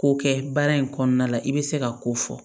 Ko kɛ baara in kɔnɔna la i bɛ se ka ko fɔ